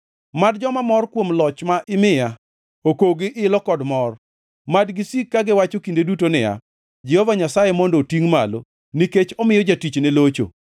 Mad joma mor kuom loch ma imiya okog gi ilo kod mor; mad gisiki kagiwacho kinde duto niya, “Jehova Nyasaye mondo otingʼ malo nikech omiyo jatichne locho.”